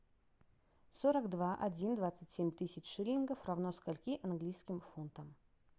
сорок два один двадцать семь тысяч шиллингов равно скольки английским фунтам